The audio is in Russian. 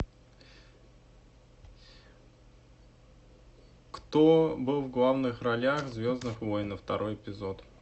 кто был в главных ролях в звездных войнах второй эпизод